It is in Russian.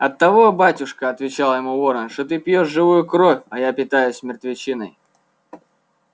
оттого батюшка отвечал ему ворон что ты пьёшь живую кровь а я питаюсь мертвечиной